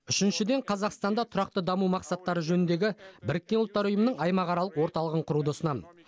үшіншіден қазақстанда тұрақты даму мақсаттары жөніндегі біріккен ұлттар ұйымының аймақаралық орталығын құруды ұсынамын